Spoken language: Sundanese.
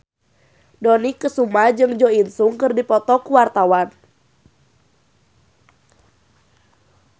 Dony Kesuma jeung Jo In Sung keur dipoto ku wartawan